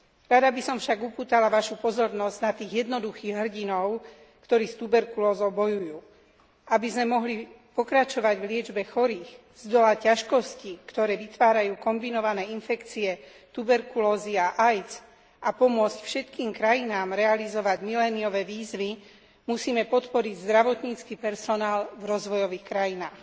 Rada by som však upútala vašu pozornosť na tých jednoduchých hrdinov, ktorí s tuberkulózou bojujú, aby sme mohli pokračovať v liečbe chorých, zdolať ťažkosti, ktoré vytvárajú kombinované infekcie tuberkulózy a AIDS, a pomôcť všetkým krajinám realizovať miléniové výzvy, musíme podporiť zdravotnícky personál v rozvojových krajinách.